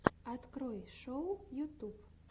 открой шоу ютюб